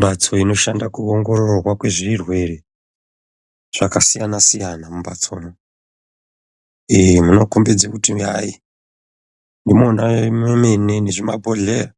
mhatso inoshanda kuongororwa kwezvirwere zvakasiyana-siyana mumhatsomwo. Muno kombidze kuti hayi ndimona mune zvimabhohlera.